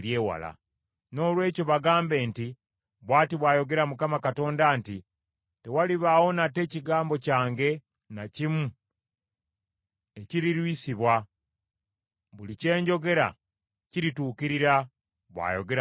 “Noolwekyo bagambe nti, ‘Bw’ati bw’ayogera Mukama Katonda nti, tewalibaawo nate kigambo kyange na kimu ekirirwisibwa, buli kye njogera kirituukirira, bw’ayogera Mukama Katonda.’ ”